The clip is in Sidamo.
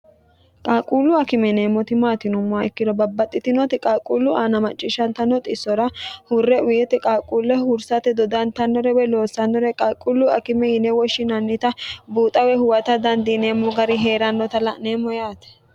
qaalquullu akime yineemmoti maati yinummoha ikkiro babbaxxitinooti qaalquullu aana macciishshantannoti xissora hurre wiyiti qaaquulle hursate dodantannore we loossannore qalquullu akime yine woshshinannita buuxawe huwata dandiineemmo gari hee'rannota la'neemmo yaate